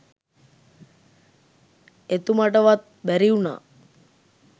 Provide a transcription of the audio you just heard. එතුමටවත් බැරිවුනා